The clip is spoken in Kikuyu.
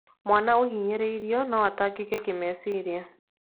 Mwana ũhinyĩrĩirio no atangĩke kĩmeciria.